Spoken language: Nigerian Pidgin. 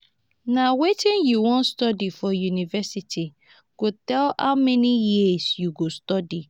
na wetin you wan study for university go tell how many years you go study.